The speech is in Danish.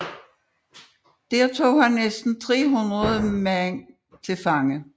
Der tog han næsten 3000 mænd til fange